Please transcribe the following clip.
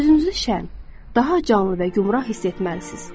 Özünüzü şən, daha canlı və gümrah hiss etməlisiniz.